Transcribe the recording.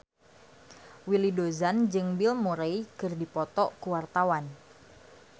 Willy Dozan jeung Bill Murray keur dipoto ku wartawan